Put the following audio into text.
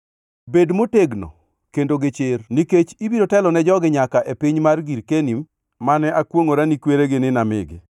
“Bed motegno kendo gi chir; nikech ibiro telone jogi nyaka e piny mar girkeni mane akwongʼora ni kweregi ni namigi.